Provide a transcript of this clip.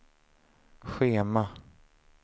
schema